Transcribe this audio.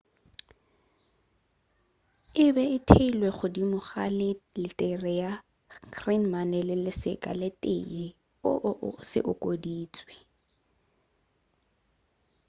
ebe e theilwe godimo ga le la letere ya greman le seka se tee õ/õ se okeditšwe